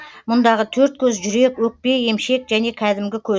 мұндағы төрт көз жүрек өкпе емшек және кәдімгі көз